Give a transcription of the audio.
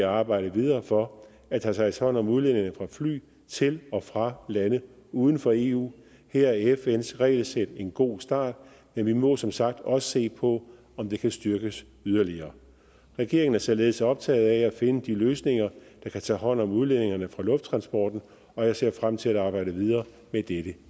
arbejde videre for at der tages hånd om udledningerne fra fly til og fra lande uden for eu her er fns regelsæt en god start men vi må som sagt også se på om det kan styrkes yderligere regeringen er således optaget af at finde de løsninger der kan tage hånd om udledningerne fra lufttransporten og jeg ser frem til at arbejde videre med dette